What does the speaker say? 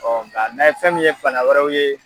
nga n'a ye fɛn min ye fanga wɛrɛw ye